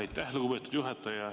Aitäh, lugupeetud juhataja!